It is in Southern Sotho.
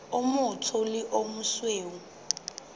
o motsho le o mosweu